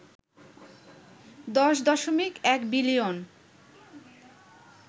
১০.১ billion